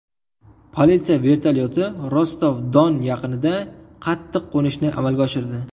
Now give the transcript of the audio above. Politsiya vertolyoti Rostov-Don yaqinida qattiq qo‘nishni amalga oshirdi.